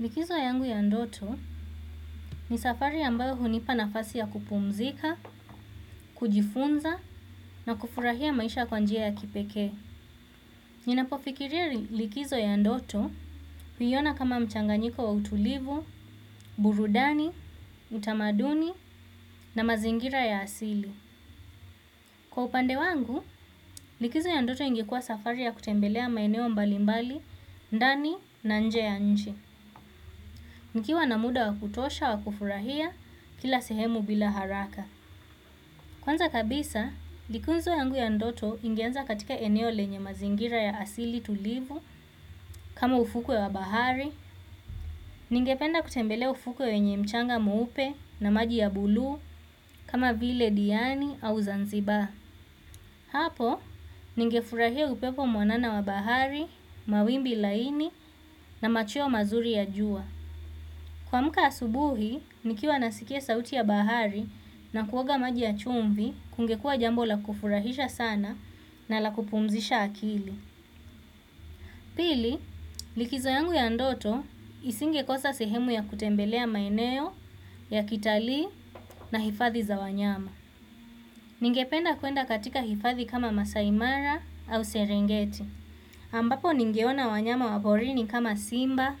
Likizo yangu ya ndoto ni safari ambayo hunipa nafasi ya kupumzika, kujifunza na kufurahia maisha kwa njia ya kipekee. Ninapofikiria likizo ya ndoto huiona kama mchanganyiko wa utulivu, burudani, utamaduni na mazingira ya asili. Kwa upande wangu, likizo ya ndoto ingekuwa safari ya kutembelea maeneo mbalimbali, ndani na nje ya nchi. Nikiwa na muda wa kutosha wa kufurahia kila sehemu bila haraka. Kwanza kabisa, likizo yangu ya ndoto ingeanza katika eneo lenye mazingira ya asili tulivu kama ufukwe wa bahari, ningependa kutembelea ufukwe wenye mchanga mweupe na maji ya buluu kama vile diani au Zanzibar. Hapo, ningefurahia upepo mwanana wa bahari, mawimbi laini na macheo mazuri ya jua. Kuamka asubuhi, nikiwa nasikia sauti ya bahari na kuoga maji ya chumvi, kungekuwa jambo la kufurahisha sana na la kupumzisha akili. Pili, likizo yangu ya ndoto isingekosa sehemu ya kutembelea maeneo ya kitalii na hifadhi za wanyama. Ningependa kuenda katika hifadhi kama Maasai Mara au Serengeti. Ambapo ningeona wanyama wa porini kama simba,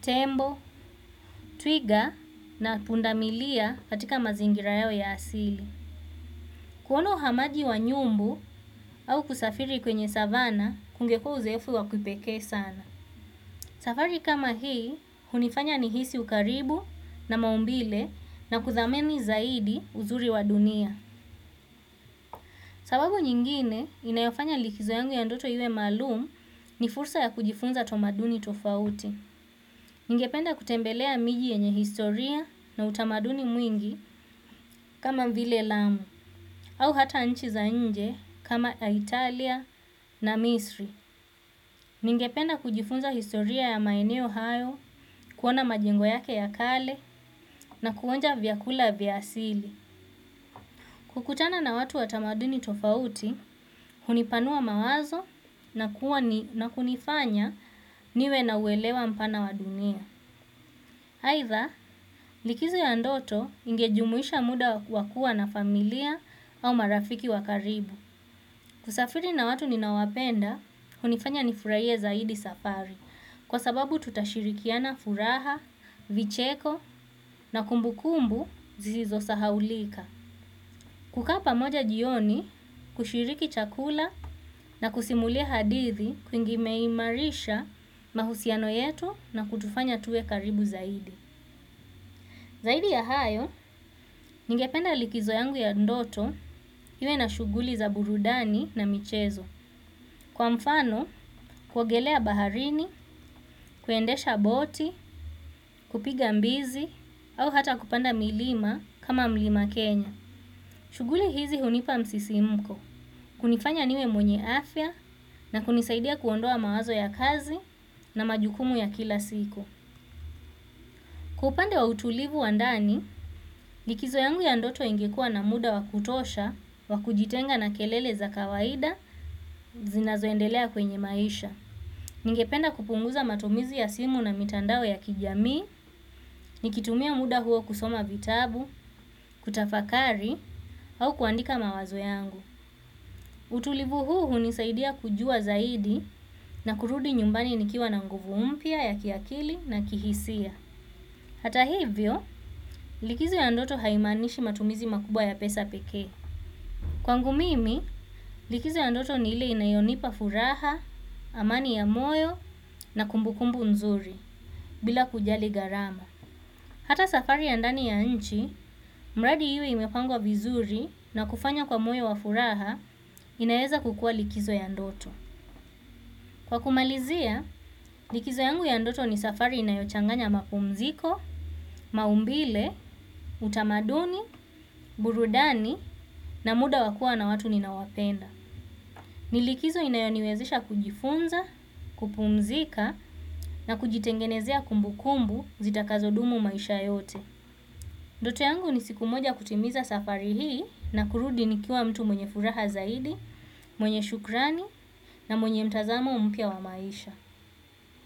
tembo, twiga na pundamilia katika mazingira yao ya asili. Kuona uhamaji wa nyumbu au kusafiri kwenye savana kungekuwa uzoefu wa kipekee sana. Safari kama hii hunifanya nihisi ukaribu na maumbile na kuthamini zaidi uzuri wa dunia. Sababu nyingine inayofanya likizo yangu ya ndoto iwe maalum ni fursa ya kujifunza tamaduni tofauti. Ningependa kutembelea miji yenye historia na utamaduni mwingi kama vile lamu au hata nchi za nje kama Italia na Misri. Ningependa kujifunza historia ya maeneo hayo, kuona majengo yake ya kale na kuonja vyakula vya asili. Kukutana na watu wa tamaduni tofauti hunipanua mawazo na kunifanya niwe na uelewa mpana wa dunia. Aidha, likizo ya ndoto ingejumuisha muda wa kuwa na familia au marafiki wa karibu. Kusafiri na watu ninaowapenda, hunifanya nifurahie zaidi safari. Kwa sababu tutashirikiana furaha, vicheko na kumbukumbu zisizosahaulika. Kukaa pamoja jioni, kushiriki chakula na kusimulia hadithi kumeimarisha mahusiano yetu na kutufanya tuwe karibu zaidi. Zaidi ya hayo, ningependa likizo yangu ya ndoto, iwe na shughuli za burudani na michezo. Kwa mfano, kuogelea baharini, kuendesha boti, kupiga mbizi, au hata kupanda milima kama mlima Kenya. Shughuli hizi hunipa msisimko, kunifanya niwe mwenye afya na kunisaidia kuondoa mawazo ya kazi na majukumu ya kila siku. Kwa upande wa utulivu wa ndani, likizo yangu ya ndoto ingekuwa na muda wa kutosha, wa kujitenga na kelele za kawaida zinazoendelea kwenye maisha. Ningependa kupunguza matumizi ya simu na mitandao ya kijamii nikitumia muda huo kusoma vitabu, kutafakari, au kuandika mawazo yangu. Utulivu huu hunisaidia kujua zaidi na kurudi nyumbani nikiwa na nguvu mpya ya kiakili na kihisia. Hata hivyo likizo ya ndoto haimaanishi matumizi makubwa ya pesa pekee. Kwangu mimi likizo ya ndoto ni ile inayonipa furaha, amani ya moyo na kumbukumbu nzuri bila kujali gharama. Hata safari ya ndani ya nchi, mradi iwe imepangwa vizuri na kufanya kwa moyo wa furaha inaweza kukuwa likizo ya ndoto. Kwa kumalizia, likizo yangu ya ndoto ni safari inayochanganya mapumziko, maumbile, utamaduni, burudani na muda wa kuwa na watu ninaowapenda. Ni likizo inayoniwezesha kujifunza, kupumzika na kujitengenezea kumbukumbu zitakazo dumu maisha yote. Ndoto yangu ni siku moja kutimiza safari hii na kurudi nikiwa mtu mwenye furaha zaidi, mwenye shukrani na mwenye mtazamo mpya wa maisha.